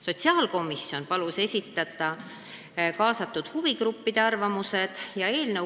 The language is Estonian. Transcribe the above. Sotsiaalkomisjon palus kaasatud huvigruppidel oma arvamused esitada.